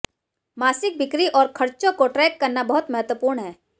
मासिक बिक्री और खर्चों को ट्रैक करना बहुत महत्वपूर्ण है